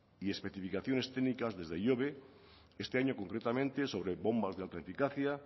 y especificaciones técnicas desde ihobe este año concretamente sobre bombas de alta eficacia